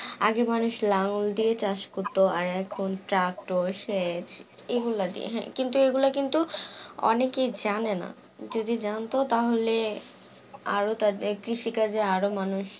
আগে মানুষ লাঙ্গল দিয়ে চাষ করতো আর এখন tractor সেচ এগুলা দিয়ে কিন্তু এগুলা কিন্তু অনেকে জানে না, যদি জানতো তাহলে আরো তাদের কৃষিকাজে আরো মানুষ